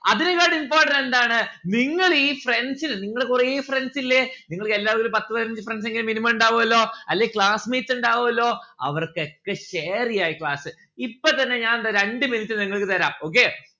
അതിനെക്കാട്ടി important എന്താണ്? നിങ്ങൾ ഈ friends ന് നിങ്ങള് കൊറേ friends ഇല്ലേ നിങ്ങൾക്ക് എല്ലാവർക്കും ഒരു പത്തു പതിനഞ്ച് friends എങ്കിലും minimum ഇണ്ടാവുഅല്ലോ അല്ലെൽ class mates ഇണ്ടാവുഅല്ലോ അവർക്കൊക്കെ share ചെയ്യാ class ഇപ്പൊ തന്നെ ഞാൻ ദാ രണ്ട് minute നിങ്ങൾക്ക് തരാം okay